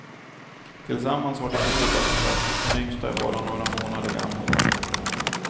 Tillsammans har de två döttrar, den yngsta är bara några månader gammal.